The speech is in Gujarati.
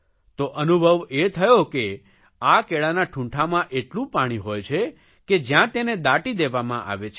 તો અનુભવ એ થયો કે આ કેળાના ઠૂંઠામાં એટલું પાણી હોય છે કે જયાં તેને દાટી દેવામાં આવે છે